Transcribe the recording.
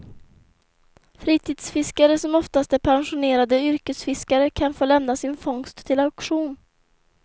Fritidsfiskare, som oftast är pensionerade yrkesfiskare, kan få lämna sin fångst till auktion.